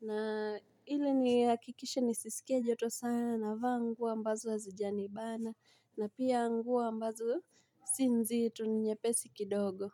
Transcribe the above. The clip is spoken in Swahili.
Na ili nihakikishe nisisikie joto sana, navaa nguo ambazo hazijanibana, na pia nguo ambazo si nzito ni nyepesi kidogo.